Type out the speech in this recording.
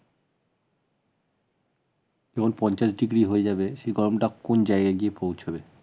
যখন পঞ্চাশ ডিগ্রি হয়ে যাবে সে গরমটা কোন জায়গায় গিয়ে পৌঁছবে